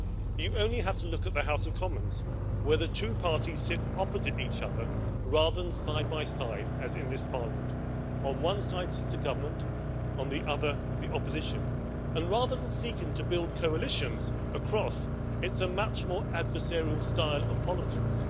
You only have to look at the House of Commons, where the two parties sit opposite each other rather than side by side as in this Parliament. On one side sits the government, on the other the opposition, and rather than seeking to build coalitions across, it's a much more adversarial style of politics.